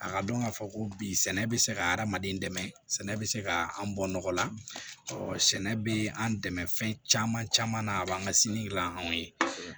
A ka dɔn k'a fɔ ko bi sɛnɛ bɛ se ka adamaden dɛmɛ sɛnɛ bɛ se ka an bɔ nɔgɔ la sɛnɛ bɛ an dɛmɛ fɛn caman caman na a b'an ka sini gilan anw ye